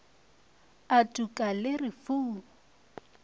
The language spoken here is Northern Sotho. a tuka le re fu